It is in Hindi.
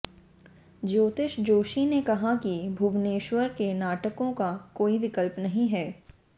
ज्योतिष जोशी ने कहा कि भुवनेश्वर के नाटकों का कोई विकल्प नहीं है